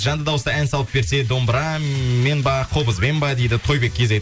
жанды дауысты ән салып берсе домбырамен ба қобызбен ба дейді тойбет кизет